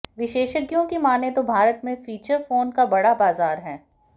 विशेषज्ञों की मानें तो भारत में फीचर फोन का बड़ा बाजार है